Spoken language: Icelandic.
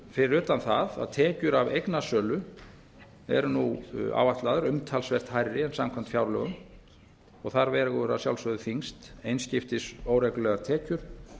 fyrir utan það að tekjur af eignasölu eru nú áætlaðar umtalsvert hærri en samkvæmt fjárlögum og þar vegur að sjálfsögðu þyngst einskiptis óreglulegar tekjur